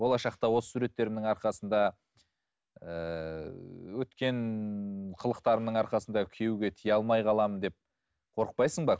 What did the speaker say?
болашақта осы суреттерімнің арқасында ыыы өткен қылықтарымның арқасында күйеуге тие алмай қаламын деп қорықпайсың ба